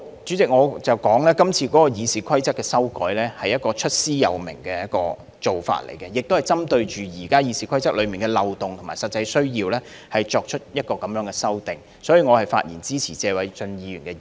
主席，我想指出，今次《議事規則》的修改，是出師有名的，亦是針對現時《議事規則》的漏洞和實際需要作出相關修訂，所以我發言支持謝偉俊議員的議案。